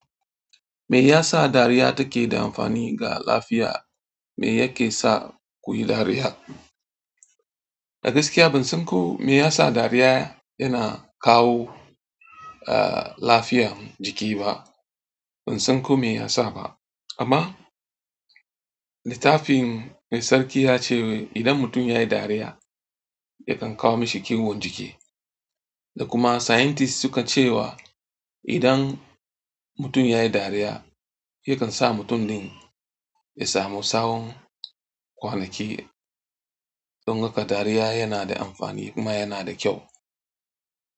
Me yasa dariya take da amfani ga lafiya? Me yake sa kuyi dariya? A gaskiya ban san ko me yasa dariya yana kawo, ah, lafiyan jiki ba. Ban san ko me yasa ba. Amma littafin mai sarki ya ce idan mutum yayi dariya, yakan kawo mashi kiwon jiki. Da kuma scientist suka cewa idan mutum yayi dariya yakan sa mutum din yasamu tsawan kwana ki. Don haka dariya yana da amfani kuma yana da kyau.